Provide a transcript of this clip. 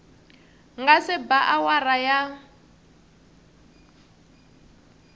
nga se ba awara ya